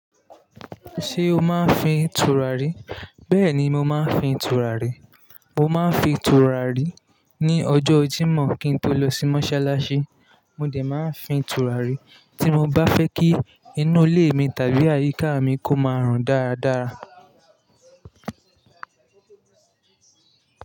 Ṣé o máa ń fin tùràrí? Bẹ́ẹ̀ ni, mo máa ń fin tùràrí. Mo máa ń fin tùràrí ní ọjọ́ Jímọ̀ kí n tó lọ sí mọ́ṣáláṣí. Mo dè máa ń fin tùràrí tí mo bá fẹ́ kí inú ilé mi tàbí àyíká mi kó máa rùn dáradára.